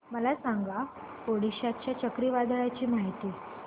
मला सांगा ओडिशा च्या चक्रीवादळाची माहिती